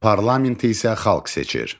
Parlamenti isə xalq seçir.